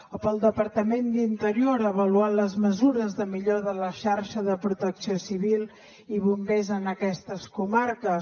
o pel departament d’interior avaluar les mesures de millora de la xarxa de protecció civil i bombers en aquestes comarques